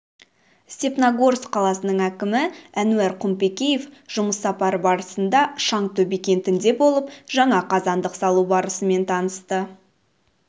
степногорск қаласының әкімі әнуар құмпекеев жұмыс сапары барысында шаңтөбе кентінде болып жаңа қазандық салу барысымен танысты